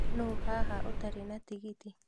Nũũ haha ũtarĩ na tigiti?